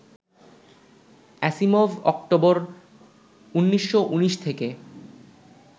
Asimov October, ১৯১৯ থেকে